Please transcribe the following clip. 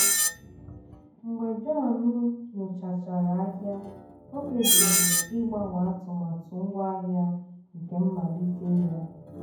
mgbe john nyochachara ahịa o kpebiri ịgbanwe atụmatụ ngwaahịa nke mmalite ya.